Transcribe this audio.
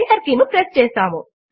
enter key ను press చేస్తాము